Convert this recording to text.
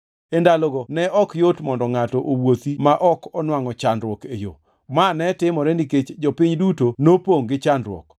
E ndalogo ne ok yot mondo ngʼato owuothi ma ok onwangʼo chandruok e yo, ma ne timore nikech jopiny duto nopongʼ gi chandruok.